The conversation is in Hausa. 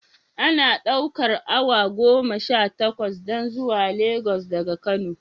Ana ɗaukar away goma Sha takwas don zuwa Lagos daga kano